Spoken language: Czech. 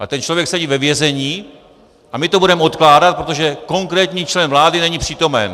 A ten člověk sedí ve vězení a my to budeme odkládat, protože konkrétní člen vlády není přítomen.